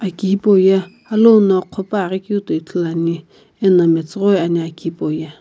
aki hipau ye alou no qhopuaghi keu toi ithuluani eno metsughoi ani aki hipau ye.